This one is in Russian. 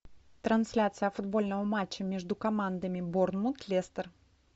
трансляция футбольного матча между командами борнмут лестер